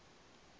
a sapu asi u ya